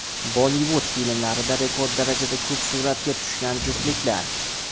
Bollivud filmlarida rekord darajada ko‘p suratga tushgan juftliklar .